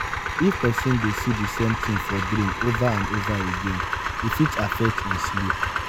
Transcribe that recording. if person de see di same thing for dream over and over again e fit affect im sleep